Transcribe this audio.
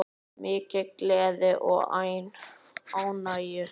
Mikil gleði og ánægja.